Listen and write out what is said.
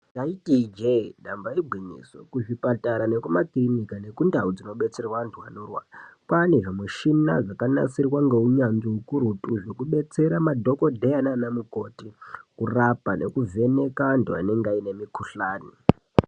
Ndaiti ijee damba igwinyiso kuzvipatara nekumakirinika nekundau dzinobetserwe anhu anorwara kwane zvimishina zvakanasirwa ngeunyanzvi ukurutu Zvekubetsera madhokodheya nana mukoti kurapa nekuvheneka antu anenga aine mikhuhlani.